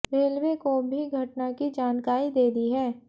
railway को भी घटना की जानकारी दे दी है